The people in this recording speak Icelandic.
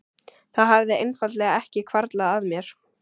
Það hafði einfaldlega ekki hvarflað að mér.